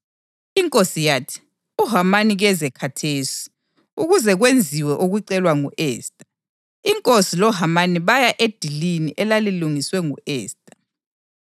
Inkosi yathi, “UHamani keze khathesi, ukuze kwenziwe okucelwa ngu-Esta.” Inkosi loHamani baya edilini elalilungiswe ngu-Esta.